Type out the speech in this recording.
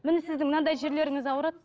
міне сіздің мынандай жерлеріңіз ауырады